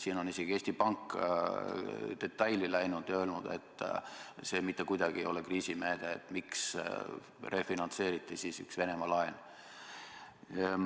Siin on isegi Eesti Pank detailidesse läinud ja öelnud, et see ei ole mitte kuidagi kriisimeede, et miks refinantseeriti üht Venemaa laenu.